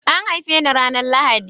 An haife ni ranar Lahadi